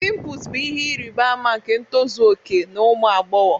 Pimples bụ ihe ịrịba ama nke ntozu okè na ụmụ agbọghọ